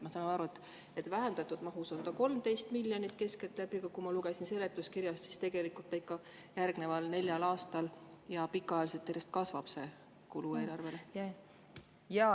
Ma saan aru, et vähendatud mahus on see keskeltläbi 113 miljonit, aga ma lugesin seletuskirjast, et järgneval neljal aastal ja pikaajaliselt see kulu eelarves ikka järjest kasvab.